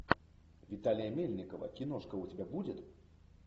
виталия мельникова киношка у тебя будет